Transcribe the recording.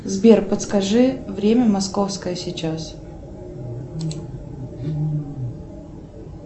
сбер подскажи время московское сейчас